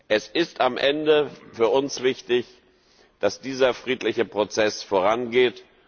Es ist am Ende für uns wichtig, dass dieser friedliche Prozess vorangeht.